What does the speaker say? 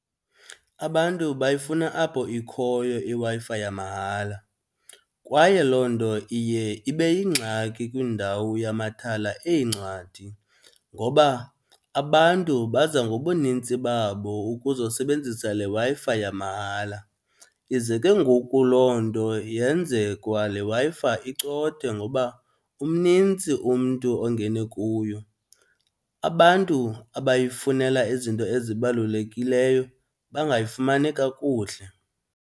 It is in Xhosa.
Abantu bayifuna apho ikhoyo iWi-Fi yamahala kwaye loo nto iye ibe yingxaki kwiindawo yamathala eencwadi ngoba abantu baza ngobunintsi babo ukuzosebenzisa le Wi-Fi yamahala. Ize ke ngoku loo nto yenze kwa le Wi-Fi icothe ngoba umnintsi umntu ongene kuyo, abantu abayifunela izinto ezibalulekileyo bangayifumani kakuhle.